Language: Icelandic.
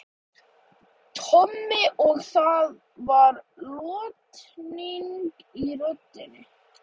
Tommi og það var lotning í röddinni.